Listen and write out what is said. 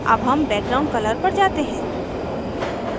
अब हम background color पर जाते हैं